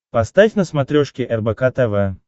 поставь на смотрешке рбк тв